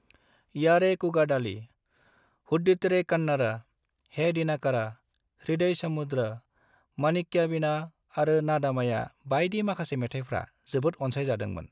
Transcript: यारेकूगडाली, हुट्टीडेरे कन्नड़, हे दिनाकारा, हृदय समुद्र, माणिक्यवीणा आरो नादमया बायदि माखासे मेथायफ्रा जोबोद अनसायजादोंमोन।